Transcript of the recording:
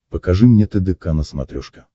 покажи мне тдк на смотрешке